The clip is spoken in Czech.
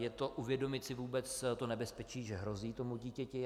Je to: Uvědomit si vůbec to nebezpečí, že hrozí tomu dítěti.